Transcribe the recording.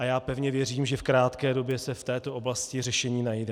A já pevně věřím, že v krátké době se v této oblasti řešení najde.